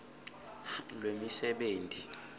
lwemisebenti